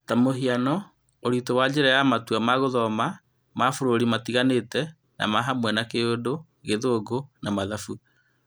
Ta mũhiano, ũritũ wa njĩra na matua ma gũthoma ma bũrũri matiganĩte na mahamwe ma Kĩurdu, gĩthũngũ, na mathabu.